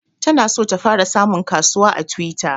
Ta na so ta fara samun kasuwa a twitter